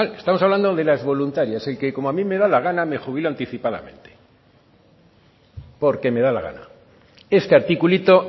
estamos hablando de las voluntarias a mí como me da la gana me jubilo anticipadamente porque me da la gana este articulito